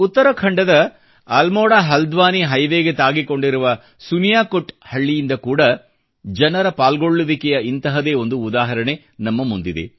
ಉತ್ತರಾಖಂಡದ ಅಲ್ಮೋರಾ ಹಲ್ದ್ವಾನಿ ಹೈವೇಗೆ ತಾಕಿಕೊಂಡಿರುವ ಸುನಿಯಾಕೊಟ್ ಹಳ್ಳಿಯಿಂದ ಕೂಡ ಜನರ ಪಾಲ್ಗೊಳ್ಳುವಿಕೆಯ ಇಂತಹದೇ ಒಂದು ಉದಾಹರಣೆ ನಮ್ಮ ಮುಂದಿದೆ